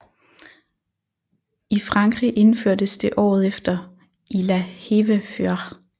I Frankrig indførtes det året efter i La Hève Fyr